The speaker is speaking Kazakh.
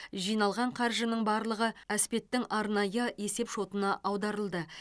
жиналған қаржының барлығы әспеттің арнайы есеп шотына аударылды